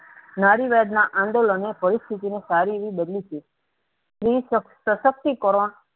નારીવાદના આંદોલન પરિસ્થિતિ ને સારી એવી બદલી છે. સ્ત્રી શશક્તિકરણ